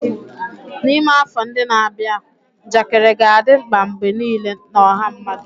N'ime afọ ndị na-abịa, njakịrị ga-adị mkpa mgbe niile na ọha mmadụ.